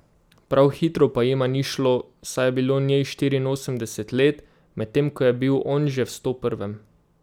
Prav hitro pa jima ni šlo, saj je bilo njej štiriinosemdeset let, medtem ko je bil on že v stoprvem.